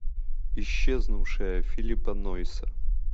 исчезнувшая филлипа нойса